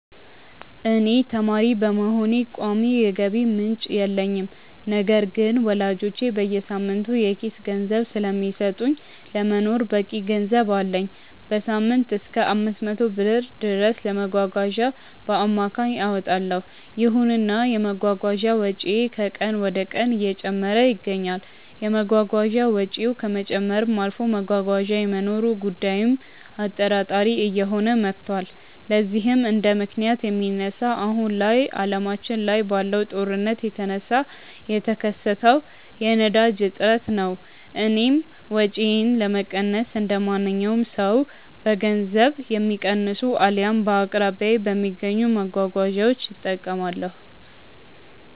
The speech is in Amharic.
እኔ ተማሪ በመሆኔ ቋሚ የገቢ ምንጭ የለኝም። ነገር ግን ወላጆቼ በየሳምንቱ የኪስ ገንዘብ ስለሚሰጡኝ ለመኖር በቂ ገንዘብ አለኝ። በሳምንትም እሰከ 500 ብር ድረስ ለመጓጓዣ በአማካይ አወጣለው። ይሁንና የመጓጓዣ ወጪዬ ከቀን ወደቀን እየጨመረ ይገኛል። የመጓጓዣ ወጪው ከመጨመርም አልፎ መጓጓዣ የመኖሩ ጉዳይም አጠራጣሪ እየሆነ መቷል። ለዚህም እንደምክንያት የሚነሳው አሁን ላይ አለማችን ላይ ባለው ጦርነት የተነሳ የተከሰተው የነዳጅ እጥረት ነው። እኔም ወጪዬን ለመቀነስ እንደማንኛውም ሰው በገንዘብ የሚቀንሱ አልያም በአቅራቢያዬ በሚገኙ መጓጓዣዎች እጠቀማለሁ።